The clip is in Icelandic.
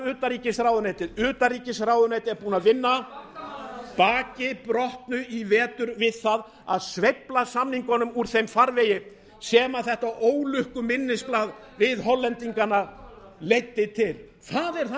utanríkisráðuneytið utanríkisráðuneytið er búið að vinna baki brotnu í vetur við það að sveifla samningunum úr þeim farvegi sem þetta ólukku minnisblað við hollendingana leiddi til það er það